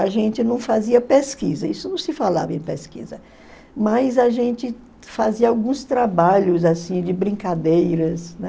A gente não fazia pesquisa, isso não se falava em pesquisa, mas a gente fazia alguns trabalhos assim de brincadeiras, né?